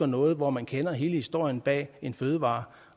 noget hvor man kender hele historien bag en fødevare